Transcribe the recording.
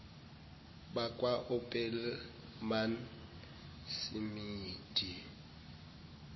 bakwa opelmane simidi